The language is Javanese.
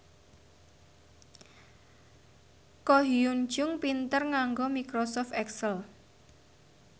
Ko Hyun Jung pinter nganggo microsoft excel